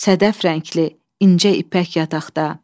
Sədəf rəngli incə ipək yataqda.